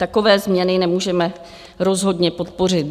Takové změny nemůžeme rozhodně podpořit.